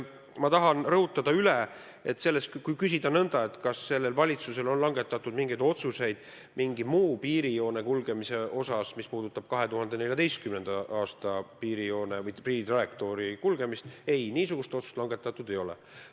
Ma tahan aga üle rõhutada, et kui küsida nõnda, kas sellel valitsusel on langetatud mingeid otsuseid mingi muu piirijoone kulgemise kohta, mis on teistsugune kui 2014. aastal määratletud piirijoon või piiritrajektoor, siis ei, niisugust otsust langetatud ei ole.